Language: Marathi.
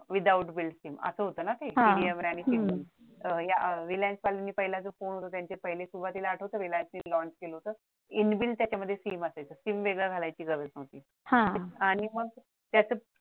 without build sim असं होतं ना ते रिलायन्स वाले पहिला जो फोन होता त्यांचा त्यांचे पहिले सीम सुरुवातीला आठवतं रिलायन्स lunch केलं होतं inbuild त्याच्यामध्ये सिम असायचं सिम वेगळ घालायची गरज नव्हती आणि मग त्याचं